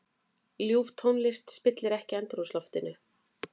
Ljúf tónlist spillir ekki andrúmsloftinu.